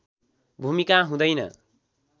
भूमिका हुँदैन